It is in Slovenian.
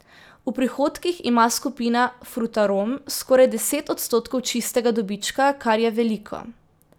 V prihodkih ima skupina Frutarom skoraj deset odstotkov čistega dobička, kar je veliko.